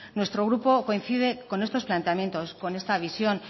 nuestro grupo coincide con estos planteamientos con esta visión